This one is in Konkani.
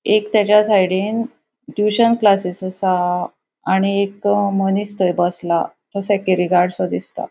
एक ताज्या साइडीन ट्यूशन क्लासेस असा आणि एक मनिस थय बसला. तो सेक्युरिटी गार्डसो दिसता.